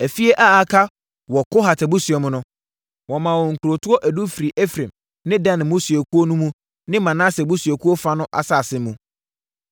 Afie a aka wɔ Kohat abusua mu no, wɔmaa wɔn nkurotoɔ edu firii Efraim ne Dan mmusuakuo no ne Manase abusuakuo fa no nsase mu.